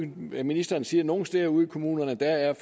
ministeren siger at nogle steder ude i kommunerne er